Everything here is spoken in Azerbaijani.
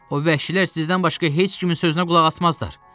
O vəhşilər sizdən başqa heç kimin sözünə qulaq asmazlar.